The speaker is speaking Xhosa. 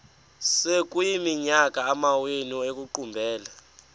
sekuyiminyaka amawenu ekuqumbele